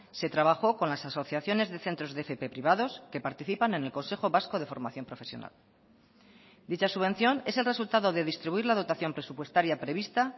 se trabajó con las asociaciones de centros de fp privados que participan en el consejo vasco de formación profesional dicha subvención es el resultado de distribuir la dotación presupuestaria prevista